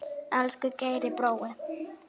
Elsku Geiri brói.